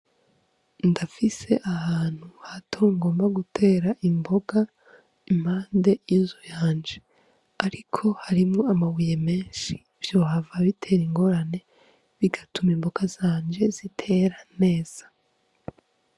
Ndafise ahantu ha to ngomba gutera imboga impande yuzu yanje, ariko harimo amabuye menshi vyohava bitera ingorane bigatuma imboga zanje zitera neza.